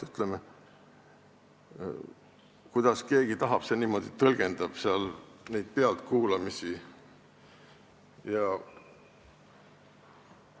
Ütleme, kuidas keegi tahab, niimoodi ta neid pealtkuulamisi tõlgendabki.